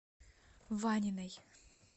ваниной